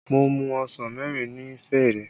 Mo mu ọsàn mẹ́rin ni fẹ̀rẹ̀